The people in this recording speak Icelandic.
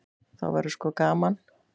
Þá verður sko gaman.